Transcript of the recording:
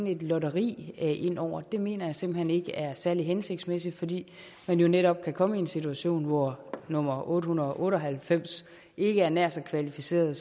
et lotteri ind over mener jeg simpelt hen ikke er særlig hensigtsmæssigt fordi man jo netop kan komme i en situation hvor nummer otte hundrede og otte og halvfems ikke er nær så kvalificeret